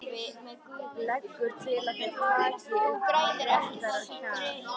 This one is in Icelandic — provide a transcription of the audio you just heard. Leggur til að þeir taki upp léttara hjal.